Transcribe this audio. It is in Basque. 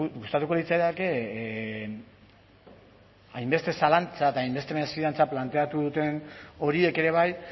gustatuko litzaidake hainbeste zalantza eta hainbeste mesfidantza planteatu duten horiek ere bai